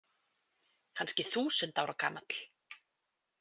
Kannski þúsund ára gamall.